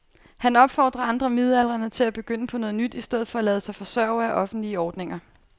Han opfordrer andre midaldrende til at begynde på noget nyt i stedet for at lade sig forsørge af offentlige ordninger.